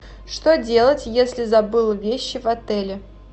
что делать если забыл вещи в отеле